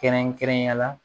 Kɛrɛnkɛrɛnnenya la